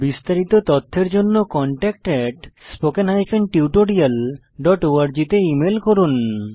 বিস্তারিত তথ্যের জন্য contactspoken tutorialorg তে ইমেল করুন